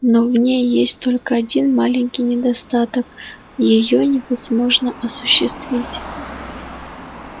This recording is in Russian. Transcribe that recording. но в ней есть только один маленький недостаток её невозможно осуществить